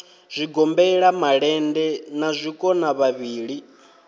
zwigombela malende na zwikona vhavhili